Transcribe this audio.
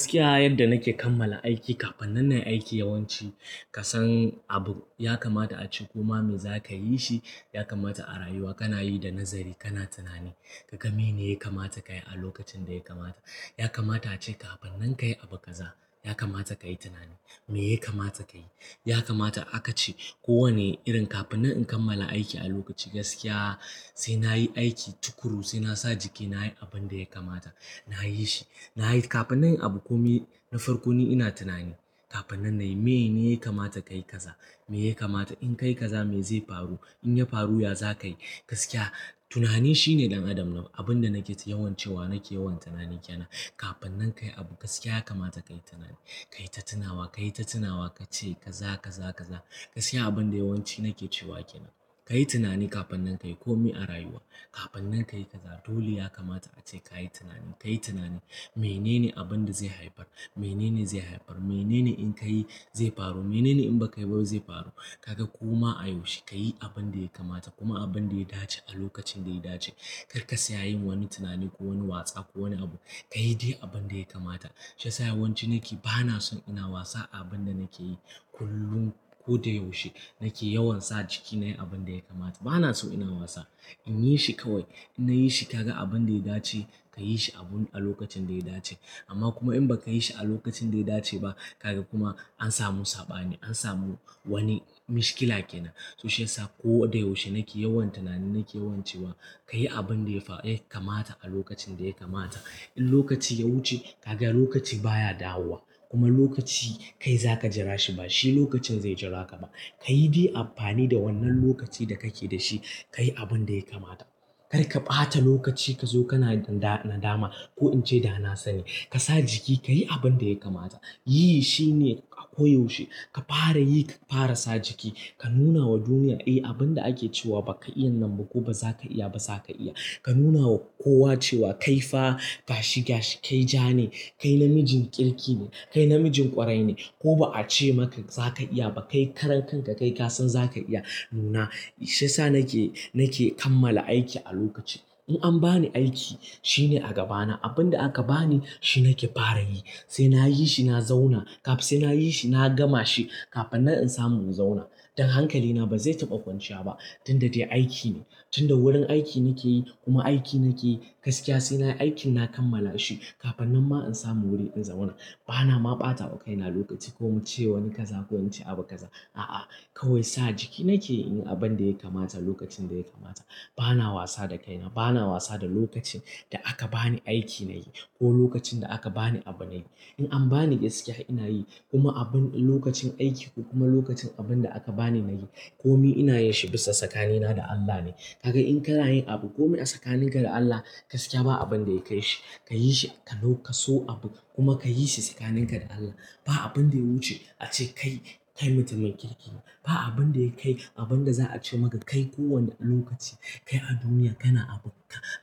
Gaskiya, yadda nake kammala aiki kafin nan nayi aiki, yawanci kasan abu yakamata ace, koma mai zakayi shi. Yakamata a rayuwa, kanayi da nazari, kana tunani. Ka gai meyene ya lkamata kayi alokacin daya kamata. Yakamata ace kafin nan kayi abu kaza, yakamata kayi tunani. Me yakamata kayi, yakamata akace kowane irin kafin nan in kammala aiki, alokacin gaskiya sainayi aiki tukuru sai nasa jiki nayi abinda yakamata. Nayishi, nayi kafin nan yi abu. Komi na farko ni ina tunani kafin nan nayi. Meye ne yakamata kayi kaza? Me yakamata in kayi kaza? Me zai faru in yafaru? Ya za ka yi gaskiya? Tunani shine ɗan adam. Abinda nake yawan cewa nake yawan tunani kenan kafin nan kayi abu. Gaskiya yakamata kayi tunani, kayi tatunawa, kayi tatunawa, kace kaza, kaza, kaza. Gaksiya abinda yawanci nake cewa kenan. Kayi tunani kafin nan kayi komi a rayuwa. Kafin nan kayi kaza dole yakamata ace kayi tunani kayi tunani. Menene abinda zai haifar? Mene ne zai haifar? Mene ne in ka yi zai faru? Menene in ba kayi ba zai faru? Kaga koma a yaushe kayi abinda yakamata kuma abinda yadace alokacin daya dace. Karka saya yin wani tunani kowani watsa ko lwani abu. Kayi dai abinda yakamata. Shiyasa yawanci nake bana son ina wasa a abinda nakeyi kullum. Koda yaushe nake yawan sa jiki nayi abinda yakamata. Banaso ina wasa inyishi kawai. In nayishi, kaga abinda yadace kayishi abun alokacin daya dace. Amma kuma in baka yishi alokacin daya dace ba, kaga kuma ansamu sabani. Ansamu wani maohkila kenan. To shiyasa koda yaushe nake yawan tunani. Nake yawan cewa kayi abinda ya lkamata alokacin daya kamata. In lokaci ya wuce kaga lokaci baya dawowa kuma lokaci kai zaka jirashi bashi lokacin zai jiraka ba. Kayi dai amfani da wannan lokaci da kake dashi. Kayi abinda yakamata. Karka ɓata lokaci kazo kana nadama ko ince danasani kasa jiki kayi abinda yakamata. Yi shine a koyaushe. Ka fara yi, ka fara sa jiki, ka nunawa duniya, "Eh, abinda ake cewa baka iya nan ba ko ba zaka iya ba, zaka iya." Ka nunawa kowa cewa kaifa gashi gashi, kai jane, kai namijin kirki ne, kai namijin ƙwarai ne. Ko ba ace maka zaka iya ba, kai karan kanka kaikasan zaka iya nuna. Shiyasa nake, nake kammala aiki a lokaci. In anbani aiki shine a gabana. Abin da aka bani shi nake fara yi, sai nayishi, na zauna. Sai nayishi, na gamashi kafin nan insamu in zauna. Don hankalina bazai taɓa kwanciya ba. Tunda dai aikine, tunda wurin aiki nakeyi kuma aiki nakeyi gaskiya. Sai nayi aiki na kammalashi kafin nanma insamu wuri in zauna. Banama ɓata kaina lokaci ko ince wani kaza ko ince abu kaza. A'a, kawai sa jiki nake inyi abinda yakamata lokacin daya kamata. Bana wasa da kaina. Bana wasa da lokacin da aka bani aiki nayi ko lokacin da aka bani abu nayi. In anbani gaskiya, inayi kuma abin lokacin aiki ko kuma lokacin abinda aka bani nayi komai inayinshi bisa tsakanina da Allah ne. Kaga in kanayin abu komai a tsakaninka da Allah gaskiya ba abinda yakai shi. Kayishi ka so abu kuma kayishi tsakaninka da Allah. Ba abin da ya wuce a ce kai, kai mutumin kirki ne. Ba abinda yakai abinda za'ace maka kai kowane lokaci. Kai a duniya kana